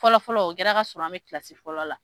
Fɔlɔ fɔlɔ o kɛra ka sɔrɔ an bɛ kilasi fɔlɔ la.